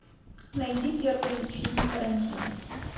найди первый фильм тарантино